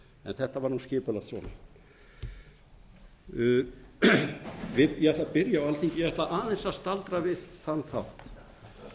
en þetta var skipulagt svona ég ætla að byrja á alþingi ég ætla aðeins að staldra við þann þátt